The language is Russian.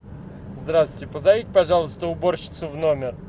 здравствуйте позовите пожалуйста уборщицу в номер